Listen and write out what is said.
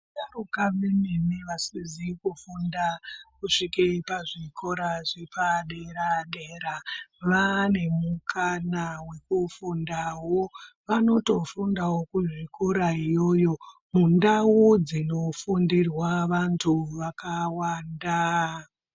Vasharuka vemene vasizi kufunda kusvika pazvikora zvepadera dera vane mukana wekufundawo .Vanotofundawo muzvikora iyoyo. Vanotofundawo mundau dzinofundirwa vandu vakawanda.